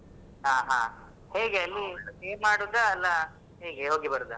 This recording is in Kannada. ಹಾ ಹಾ ಹೇಗೆ ಅಲ್ಲಿ stay ಮಾಡುದ ಅಲ್ಲ ಹೇಗೆ ಹೋಗಿ ಬರುದ?